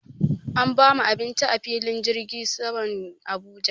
An bamu abinci a filin jirgin saman Abuja.